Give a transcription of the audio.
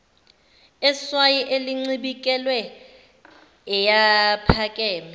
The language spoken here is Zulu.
eswayi elincibikele ayephakeme